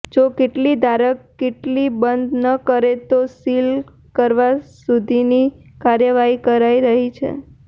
જો કીટલી ધારક કીટલી બંધ ન કરે તો સિલ કરવા સુધીની કાર્યવાહી કરાઈ રહી છે